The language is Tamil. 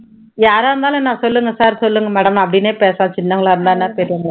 யாரா இருந்தாலும் என்ன சொல்லுங்க sir சொல்லுங்க madam அப்படின்னே பேசு சின்னவங்களா இருந்தா என்ன பெரியவங்களா